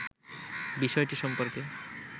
বিষয়টি সম্পর্কে